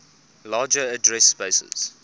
larger address spaces